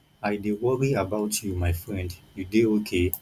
i dey worry about you my friend you dey okay